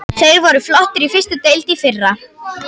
Þeir voru flottir í fyrstu deild í fyrra.